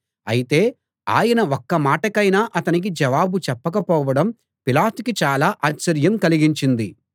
అయితే ఆయన ఒక్క మాటకైనా అతనికి జవాబు చెప్పకపోవడం పిలాతుకి చాలా ఆశ్చర్యం కలిగించింది